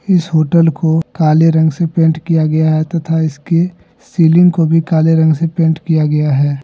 इस होटल को काले रंग से पेंट किया गया है तथा इसके सीलिंग को भी काले रंग से पेंट किया गया है।